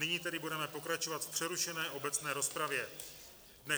Nyní tedy budeme pokračovat v přerušené obecné rozpravě.